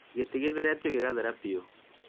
gĩtĩ githeretio gĩgathera piu